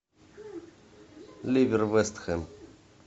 ливер вест хэм